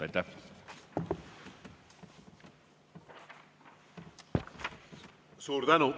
Suur tänu!